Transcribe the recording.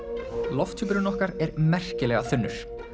lofthjúpurinn okkar er merkilega þunnur